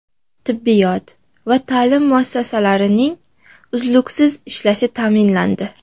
Tibbiyot va ta’lim muassasalarining uzluksiz ishlashi ta’minlandi.